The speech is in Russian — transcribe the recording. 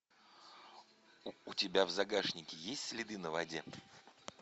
у тебя в загашнике есть следы на воде